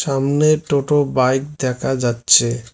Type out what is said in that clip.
আমনে টোটো বাইক দেখা যাচ্ছে।